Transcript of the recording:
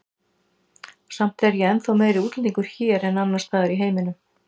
Samt er ég ennþá meiri útlendingur hér en annars staðar í heiminum.